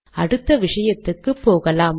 அடுத்த விஷயத்துக்கு போகலாம்